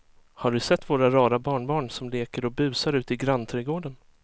Har du sett våra rara barnbarn som leker och busar ute i grannträdgården!